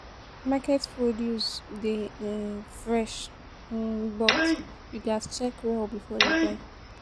Market produce dey um fresh, um but you gats check well before you buy.